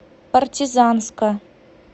партизанска